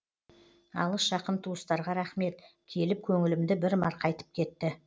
алыс жақын туыстарға рахмет келіп көңілімді бір марқайтып кетті